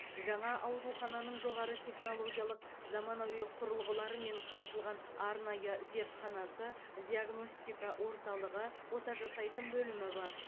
жаңа аурухананың жоғары технологиялық заманауи құрылғыларымен қамтылған арнайы зертханасы диагностика орталығы ота жасайтын бөлімі бар